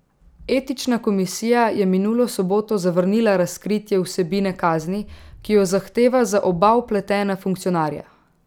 Etična komisija je minulo soboto zavrnila razkritje vsebine kazni, ki jo zahteva za oba vpletena funkcionarja.